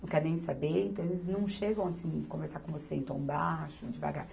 não quer nem saber, então eles não chegam assim conversar com você em tom baixo, devagar.